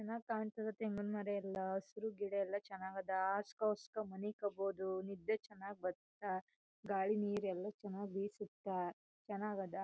ಚನ್ನಾಗ್ ಕಾಣ್ತದ ತೆಂಗಿನ ಮರ ಎಲ್ಲ ಹಸುರು ಗಿಡ ಎಲ್ಲ ಚನಾಗ್ ಅದ. ಹಾಸ್ಸ್ಕಒಸ್ಕಾ ಮನಿಕಬೋದು ನಿದ್ದೆ ಚನ್ನಾಗ್ ಬತ್ತಾ ಗಾಳಿ ನೀರೇಲಾ ಚನಾಗ್ ಬೀಸತ್ತ ಚನಾಗದ.